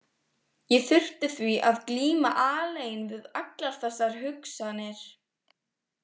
Ég þurfti því að glíma alein við allar þessar hugsanir.